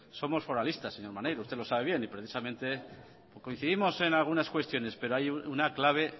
somos foralistas señor maneiro usted lo sabe bien y precisamente coincidimos en algunas cuestiones pero hay una clave